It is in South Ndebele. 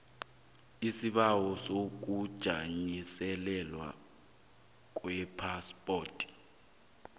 isibawo sokujanyiselelwa kwephaspoti